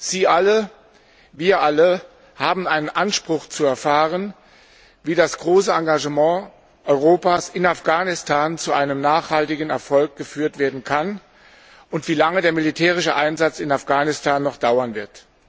Sie alle, wir alle haben einen Anspruch zu erfahren, wie das große Engagement Europas in Afghanistan zu einem nachhaltigen Erfolg geführt werden kann und wie lange der militärische Einsatz in Afghanistan noch dauern wird.